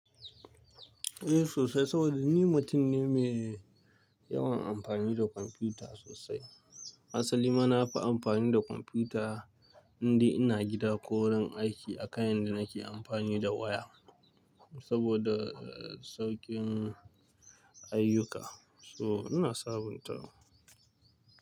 Eh sosai, saboda ni mutum ne mai yawan amfani da kwamfuta sosai. Asali ma na fi amfani da kwamfuta in dai ina gida ko wurin aiki a kan yadda nake amfani da waya. Saboda saukin ayyuka, so ina sabuntawa.